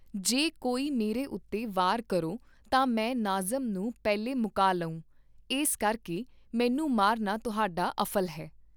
ਜੇ ਕੋਈ ਮੇਰੇ ਉਤੇ ਵਾਰ ਕਰੋ ਤਾਂ ਮੈਂ ਨਾਜ਼ਮ ਨੂੰ ਪਹਿਲੇ ਮੁਕਾ ਲਉਂ, ਏਸ ਕਰਕੇ ਮੈਨੂੰ ਮਾਰਨਾ ਤੁਹਾਡਾ ਅਫ਼ਲ ਹੈ।